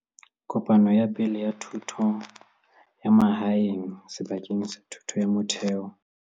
Kopano ya Pele ya Thuto ya Mahae ng sebakeng sa thuto ya motheo.